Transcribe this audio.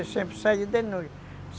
sempre saía de noite.